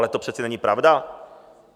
Ale to přece není pravda.